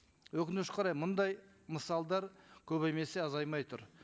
өкінішке орай мындай мысалдар көбеймесе азаймай тұр